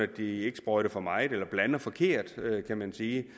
de ikke sprøjter for meget eller blander forkert kan man sige